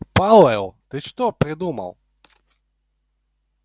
пауэлл ты что придумал